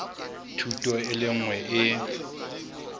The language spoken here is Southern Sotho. thuto e le nngwe e